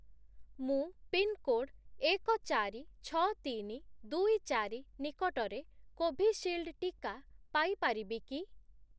ମୁଁ ପିନ୍‌କୋଡ୍ ଏକ, ଚାରି, ଛଅ, ତିନି, ଦୁଇ, ଚାରି ନିକଟରେ କୋଭିଶିଲ୍ଡ୍‌ ଟିକା ପାଇ ପାରିବି କି?